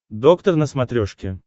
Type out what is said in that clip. доктор на смотрешке